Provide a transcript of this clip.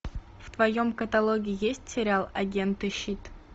в твоем каталоге есть сериал агенты щит